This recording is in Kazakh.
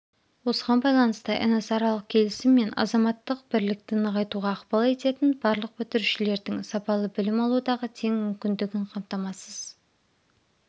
осыған байланысты эносаралық келісім мен азаматтық бірлікті нығайтуға ықпал ететін барлық бітірушілердің сапалы білім алудағы тең мүмкіндігін қаматамасыз